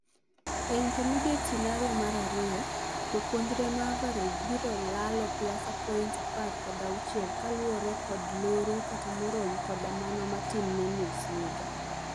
Ei intermediate scenario mar ariyo ,jopuonjre ma average biro lalo PIASA points apar kod auchiel kaluore kod loro, kata marom koda mano matin ne nus higa .